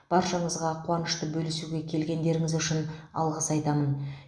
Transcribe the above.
баршаңызға қуанышты бөлісуге келгендеріңіз үшін алғыс айтамын